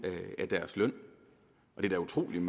af deres løn det er da utroligt